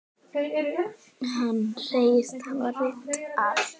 Hann segist hafa reynt allt.